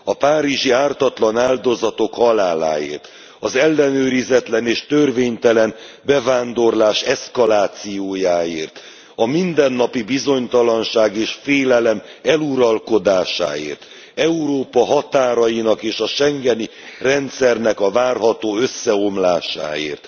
A párizsi ártatlan áldozatok haláláért, az ellenőrizetlen és törvénytelen bevándorlás eszkalációjáért, a mindennapi bizonytalanság és félelem eluralkodásáért, Európa határainak és a schengeni rendszernek a várható összeomlásáért!